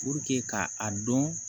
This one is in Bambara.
ka a dɔn